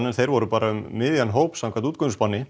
en þeir voru bara um miðjan hóp samkvæmt